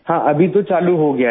हाँ अभी तो चालू हो गया है